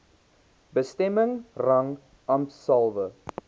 bestemming rang ampshalwe